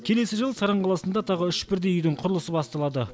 келесі жылы саран қаласында тағы үш бірдей үйдің құрылысы басталады